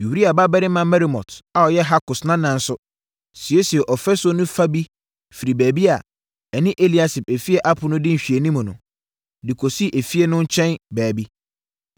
Uria babarima Meremot a ɔyɛ Hakos nana nso, siesiee ɔfasuo no fa bi firi baabi a, ɛne Eliasib efie ɛpono di nhwɛanimu no, de kɔsii efie no nkyɛn baabi.